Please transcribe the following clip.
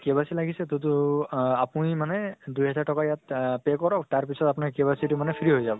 KYC লাগিছে তো । তʼ তো আ আপুনি মানে দুহাজাৰ টকা ইয়াত pay কৰক তাৰ পিছত আপোনাৰ KYC তো মানে free হৈ যাব